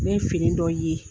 Ne ye fini dɔ ye